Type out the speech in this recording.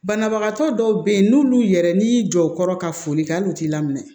Banabagatɔ dɔw bɛ yen n'olu yɛrɛ n'i y'i jɔ u kɔrɔ ka foli kɛ hali u t'i laminɛ